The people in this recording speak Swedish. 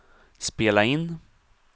spela in